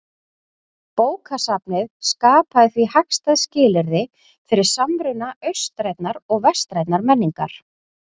Bókasafnið skapaði því hagstæð skilyrði fyrir samruna austrænnar og vestrænnar menningar.